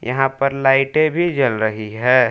यहां पर लाइटें भी जल रही है।